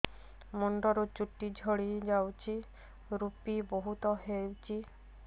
ମୁଣ୍ଡରୁ ଚୁଟି ଝଡି ଯାଉଛି ଋପି ବହୁତ ହେଉଛି